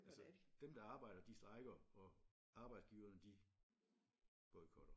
Altså dem der arbejder de strejker og arbejdsgiverne de boykotter